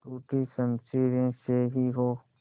टूटी शमशीरें से ही हो